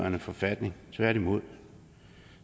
en forfatning tværtimod